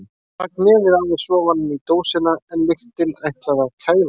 Hann rak nefið aðeins ofan í dósina en lyktin ætlaði að kæfa hann.